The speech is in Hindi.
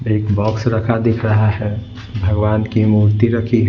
एक बॉक्स रखा दिख रहा है भगवान की मूर्ति रखी--